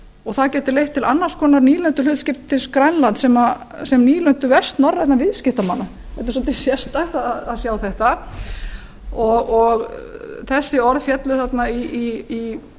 og það gæti leitt til annars konar nýlenduhlutskiptis grænlands sem nýlendu vestnorrænna viðskiptamanna þetta er svolítið sérstakt að sjá þetta og þessi orð féllu þarna í